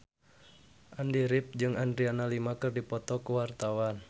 Andy rif jeung Adriana Lima keur dipoto ku wartawan